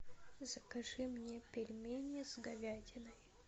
закажи мне пельмени с говядиной